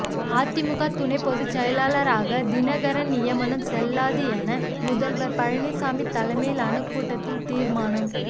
அதிமுக துணை பொதுச் செயலாளராக தினகரன் நியமனம் செல்லாது என முதல்வர் பழனிசாமி தலைமையிலான கூட்டத்தில் தீர்மானம்